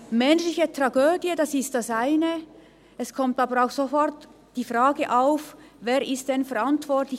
Eine menschliche Tragödie ist das eine, es kommen aber auch sofort Fragen auf: Wer ist denn verantwortlich?